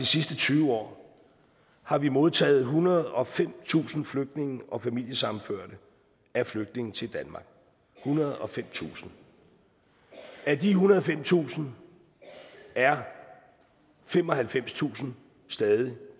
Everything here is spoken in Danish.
sidste tyve år har vi modtaget ethundrede og femtusind flygtninge og familiesammenførte af flygtninge til danmark ethundrede og femtusind af de ethundrede og femtusind er femoghalvfemstusind stadig